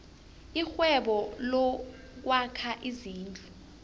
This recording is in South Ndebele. irhwebo lokwakha izindlu